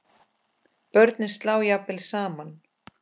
Börnin slá jafnvel saman.